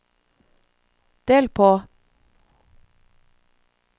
del på